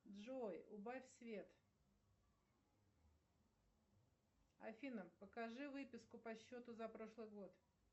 джой убавь свет афина покажи выписку по счету за прошлый год